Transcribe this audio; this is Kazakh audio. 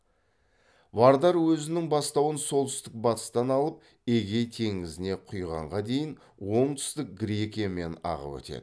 вардар өзінің бастауын солтүстік батыстан алып эгей теңізіне құйғанға дейін оңтүстік грекиямен ағып өтеді